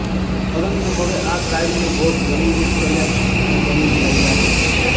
પરંતુ હવે આ ક્રાઈમનો ભોગ બોલિવૂડ સેલેબ્સ પણ બની રહ્યા છે